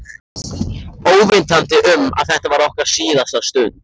Óvitandi um að þetta var okkar síðasta stund.